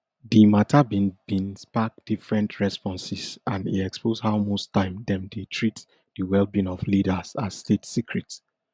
di mata bin bin spark different responses and e expose how most time dem dey treat di wellbeing of leaders as state secret